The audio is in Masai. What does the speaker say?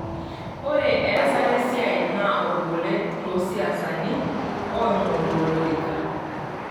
Ore easta esia naa olbolet too siasani oingoru olorika.